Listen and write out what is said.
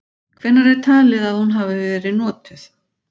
Hvenær er talið að hún hafi verið notuð?.